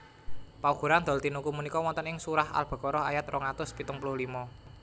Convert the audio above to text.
Paugeran dol tinuku punika wonten ing surah Al Baqarah ayat rong atus pitung puluh limo